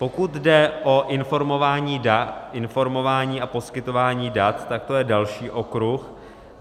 Pokud jde o informování a poskytování dat, tak to je další okruh.